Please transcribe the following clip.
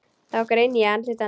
Þá greini ég andlit hennar.